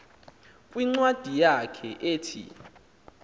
kwincwadi yakhe ethi